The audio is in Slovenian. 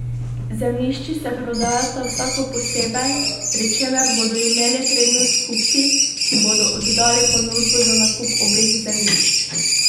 Zemljišči se prodajata vsako posebej, pri čemer bodo imeli prednost kupci, ki bodo oddali ponudbo za nakup obeh zemljišč.